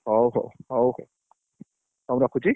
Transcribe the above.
ହଉ ହଉ ହଉ ହଉ ରଖୁଛି